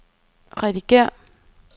redigér